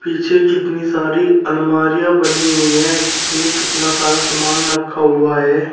पीछे कितनी सारी अलमारियां बनी हुई हैं जिसमें कितना सारा सामान रखा हुआ है।